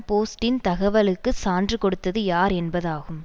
போஸ்ட்டின் தகவலுக்கு சான்று கொடுத்தது யார் என்பதாகும்